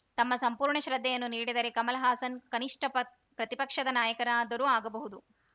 ತಮ್ಮ ಸಂಪೂರ್ಣ ಶ್ರದ್ಧೆಯನ್ನು ನೀಡಿದರೆ ಕಮಲಹಾಸನ್‌ ಕನಿಷ್ಠ ಪತ್ ಪ್ರತಿಪಕ್ಷದ ನಾಯಕನಾದರೂ ಆಗಬಹುದು